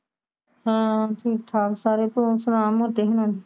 ਹਾ ਠੀਕ ਠਾਕ ਸਾਰੇ ਤੂੰ ਸੁਣਾ ਅਮਰ ਤੈਨੂੰ